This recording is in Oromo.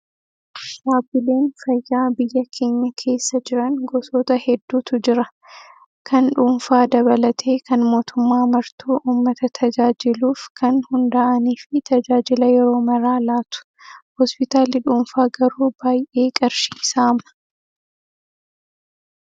Dhaabbileen fayyaa biyya keenya keessa jiran gosoota hedduutu jira. Kan dhuunfaa dabalatee kan mootummaa martuu uummata tajaajiluuf kan hundaa'anii fi tajaajila yeroo maraa laatu. Hospitaalli dhuunfaa garuu baay'ee qarshii saama